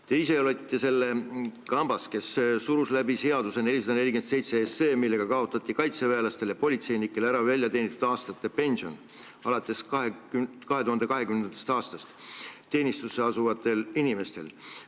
Te ise olite selles kambas, kes surus läbi seaduseelnõu 447, millega kaotati alates 2020. aastast teenistusse asuvatel kaitseväelastel ja politseinikel väljateenitud aastate pension.